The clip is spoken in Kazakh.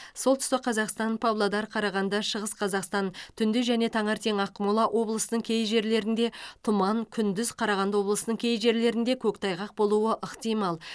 солтүстік қазақстан павлодар қарағанды шығыс қазақстан түнде және таңертең ақмола облысының кей жерлерінде тұман күндіз қарағанды облысының кей жерлерде көктайғақ болуы ықтимал